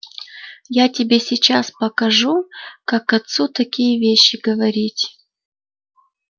я тебе сейчас покажу как отцу такие вещи говорить